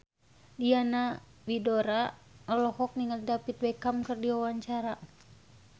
Diana Widoera olohok ningali David Beckham keur diwawancara